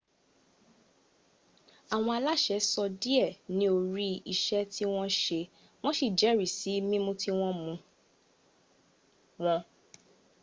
àwọn aláṣẹ sọ díẹ́ níorí iṣẹ́ tí wọ́n sì jẹ́rìsí mímú tí wọ́n mú wọn